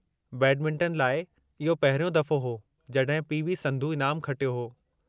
Badminton लाइ इहो पहिरियों दफ़ो हो जड॒हिं पी.वी.संधू इनामु खटियो हो।